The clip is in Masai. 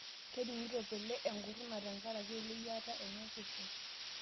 Kening'ito pele enkuruna tenkaraki eleyiata enye osesen